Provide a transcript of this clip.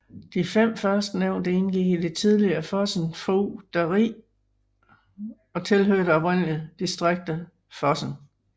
De fem førstnævnte indgik i det tidligere Fosen fogderi og tilhørte oprindelig distriktet Fosen